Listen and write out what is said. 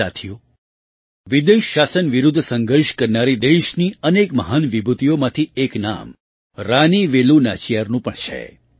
સાથીઓ વિદેશ શાસન વિરુદ્ધ સંઘર્ષ કરનારી દેશની અનેક મહાન વિભૂતિઓમાંથી એક નામ રાની વેલુ નાચિયારનું પણ છે